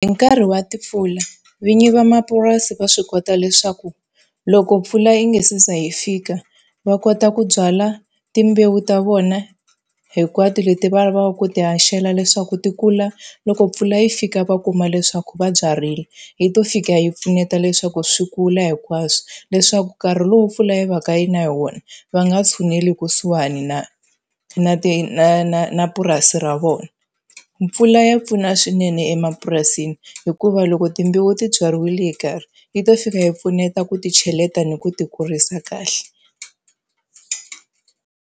Hi nkarhi wa timpfula vinyi va mapurasi va swi kota leswaku loko mpfula yi nga se za hi fika, va kota ku byala timbewu ta vona hinkwato leti va lavaka ku ti haxela leswaku ti kula loko mpfula yi fika va kuma leswaku va byarile, yi to fika yi pfuneta leswaku swi kula hinkwaswo. Leswaku nkarhi lowu mpfula yi va ka yi na hi wona va nga tshuneli kusuhani na na ti na na na na purasi ra vona. Mpfula ya pfuna swinene emapurasini hikuva loko timbewu ti byariwile yi karhi. yi to fika yi pfuneta ku ti cheleta ni ku ti kurisa kahle.